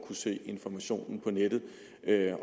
kunne søge informationen på nettet